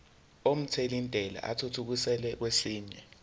omthelintela athuthukiselwa kwesinye